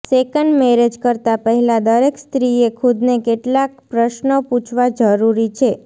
second marriage કરતાં પહેલાં દરેક સ્ત્રીએ ખુદને કેટલાંક પ્રશ્નો પૂછવા જરૂરી છે